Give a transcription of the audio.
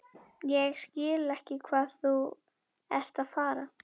Ég skil ekki hvað þú ert að fara.